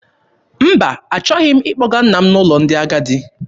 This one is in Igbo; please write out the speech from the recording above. Mba, achọghị m ịkpọga nna m n'ụlọ ndị agadi.